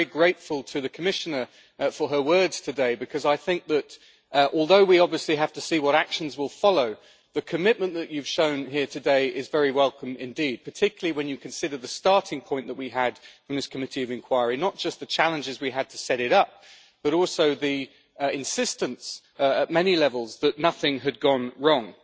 I am very grateful to the Commissioner for her words today because I think that, although we have to see what actions will follow, the commitment that she has shown here today is very welcome indeed, particularly when you consider the starting point that we had in this committee of inquiry, not just the challenges we had to set it up, but also the insistence at many levels that nothing had gone wrong.